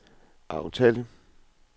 aftale